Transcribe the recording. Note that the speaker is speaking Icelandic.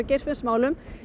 Geirfinnsmálum